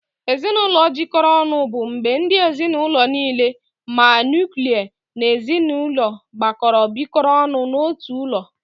Ezinụlọ jikọrọ ọnụ bụ mgbe ndị ezinaụlọ niile ma nuklia na ezinụlọ gbakọrọ bikọrọ ọnụ n'otu ụlọ.